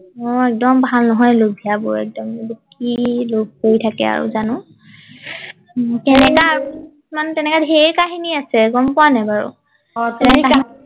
অ একদম ভাল নহয় লোভিয়া বোৰ একদম কি লোভ কৰি থাকে আৰু জানো উম তেনেকা ধেৰ কাহিনী আছে গম পোৱা নাই বাৰু অ পাও পাও